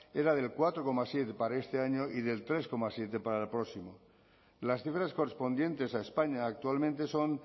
era del cuatro coma siete para este año y del tres coma siete para el próximo las cifras correspondientes a españa actualmente son